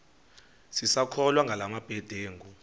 sisakholwa ngala mabedengu